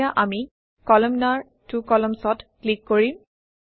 এতিয়া আমি কলামনাৰ ত্ব columns অত ক্লিক কৰিম